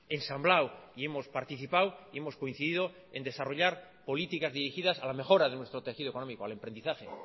ensamblado y hemos participado y hemos coincidido en desarrollar políticas dirigidas a la mejora de nuestro tejido económico al emprendizaje